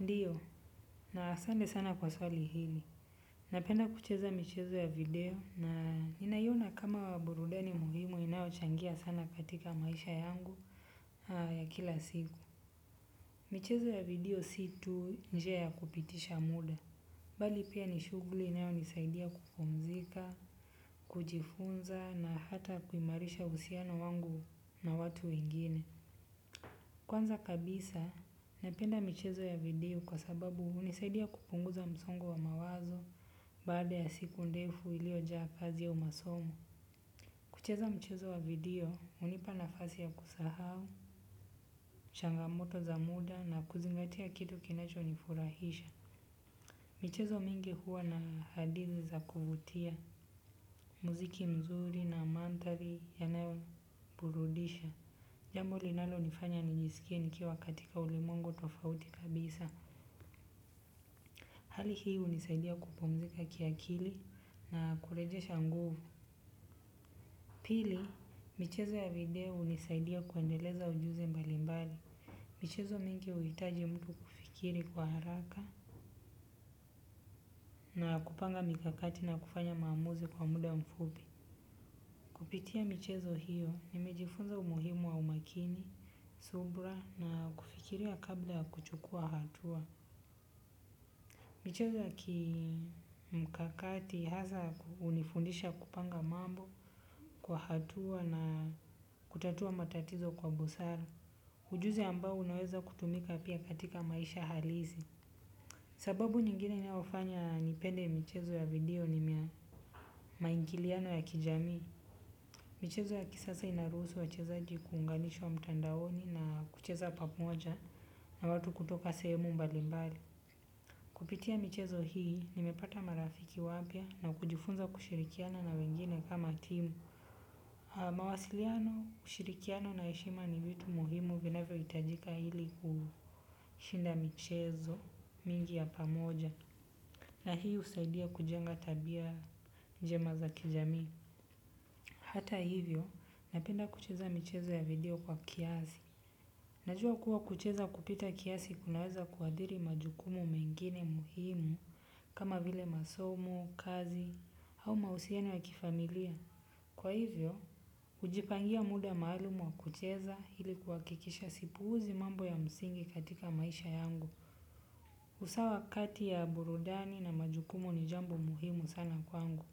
Ndiyo, na asante sana kwa swali hili. Napenda kucheza michezo ya video na ninaiona kama burudani muhimu inayochangia sana katika maisha yangu ya kila siku. Michezo ya video si tu njia ya kupitisha muda. Bali pia ni shughuli inayonisaidia kupumzika kujifunza na hata kuimarisha uhusiano wangu na watu wengine. Kwanza kabisa, napenda michezo ya video kwa sababu hunisaidia kupunguza msongo wa mawazo baada ya siku ndefu iliyojaa kazi ya masomo. Kucheza michezo wa video, hunipa nafasi ya kusahau, changamoto za muda na kuzingatia kitu kinachonifurahisha. Michezo mingi huwa na hadithi za kuvutia, muziki mzuri na mandhari yanayoburudisha. Jambo linalonifanya nijisikie nikiwa katika ulimwengu tofauti kabisa. Hali hii hunisaidia kupumzika kiakili na kurejesha nguvu. Pili, michezo ya video hunisaidia kuendeleza ujuzi mbalimbali. Michezo mingi huhitaji mtu kufikiri kwa haraka na kupanga mikakati na kufanya maamuzi kwa muda mfupi. Kupitia michezo hiyo nimejifunza umuhimu wa umakini, subira na kufikiria kabla kuchukua hatua. Michezo ya kimkakati hasa hunifundisha kupanga mambo kwa hatua na kutatua matatizo kwa busara. Ujuzi ambao unaweza kutumika pia katika maisha halisi. Sababu nyingine inafanya nipende michezo ya video ni maingiliano ya kijamii. Michezo ya kisasa inaruhusu wachezaji kuunganishwa mtandaoni na kucheza pamoja na watu kutoka sehemu mbalimbali. Kupitia michezo hii, nimepata marafiki wapya na kujifunza kushirikiana na wengine kama timu. Mawasiliano, ushirikiano na heshima ni vitu muhimu vinavyohitajika ili kushinda michezo mingi ya pamoja. Na hii husaidia kujenga tabia jema za kijamii. Hata hivyo, napenda kucheza michezo ya video kwa kiasi. Najua kuwa kucheza kupita kiasi kunaweza kuathiri majukumu mengine muhimu kama vile masomo, kazi au mawasiliano wa kifamilia. Kwa hivyo, kujipangia muda maalumu wa kucheza ili kuhakikisha sipuuzi mambo ya msingi katika maisha yangu. Hasa wakati wa burudani na majukumu ni jambo muhimu sana kwangu,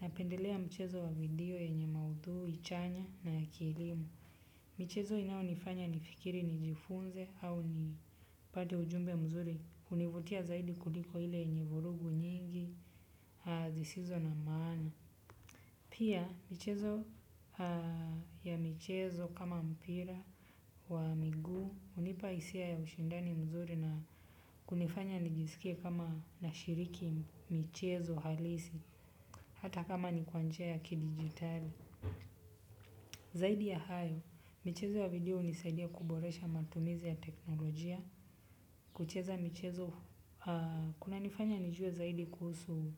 napendelea michezo ya video yenye maudhui chanya na ya kielimu. Mchezo inaonifanya nifikiri, nijifunze au nipate ujumbe mzuri. Hunivutia zaidi kuliko ile yenye vurugu nyingi, zisizo na maana. Pia michezo ya, michezo kama mpira wa miguu. Hunipa hisia ya ushindani mzuri na kunifanya nijisikie kama nashiriki mchezo halisi. Hata kama ni kwanjia ya ki-digitali. Zaidi ya hayo michezo ya video hunisaidia kuboresha matumizi ya teknolojia. Kucheza michezo, kunanifanya nijue zaidi kuhusu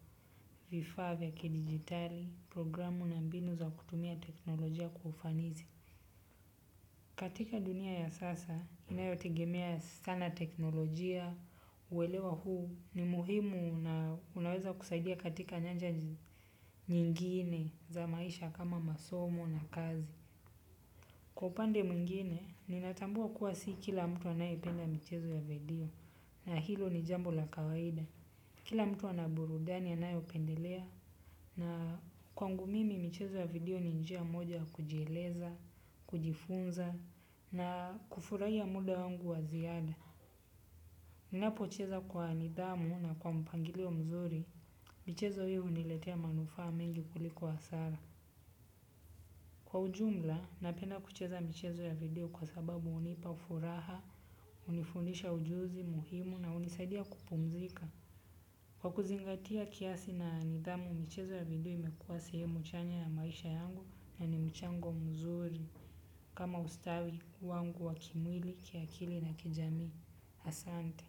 vifaa vya kidijitali, programu na mbinu za kutumia teknolojia kwa ufanisi. Katika dunia ya sasa, inayotegemea sana teknolojia, kuelewa huu. Ni muhimu na unaweza kusaidia katika nyanja nyingine za maisha kama masomo na kazi. Kwa upande mwingine, ninatambua kuwa si kila mtu anayependa mchezo ya video. Na hilo ni jambo la kawaida. Kila mtu ana burudani anayopendelea. Na kwangu mimi mchezo ya video ni njia moja ya kujieleza, kujifunza na kufurahia muda wangu wa ziada. Ninapocheza kwa nidhamu na kwa mpangilio mzuri michezo huu unaniletea manufaa mengi kuliko hasara. Kwa ujumla, napenda kucheza michezo ya video kwa sababu hunipa furaha, hunifundisha ujuzi, muhimu na hunisaidia kupumzika. Kwa kuzingatia kiasi na nidhamu, michezo ya video imekuwa sehemu chanya ya maisha yangu na ni mchango mzuri. Kama ustawi wangu wa kimwili, kiakili na kijamii. Asante.